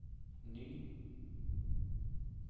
ny